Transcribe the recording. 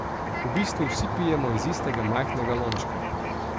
V bistvu vsi pijemo iz istega majhnega lončka.